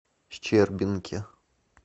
щербинке